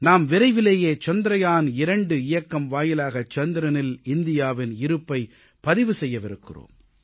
நாம் விரைவிலேயே சந்திரயான்2 இயக்கம் வாயிலாக சந்திரனில் இந்தியாவின் இருப்பைப் பதிவு செய்யவிருக்கிறோம்